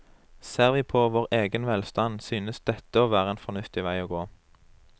Ser vi på vår egen velstand, synes dette å være en fornuftig vei å gå.